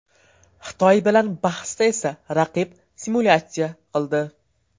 Xitoy bilan bahsda esa raqib simulyatsiya qildi.